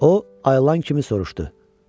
O ayılan kimi soruşdu.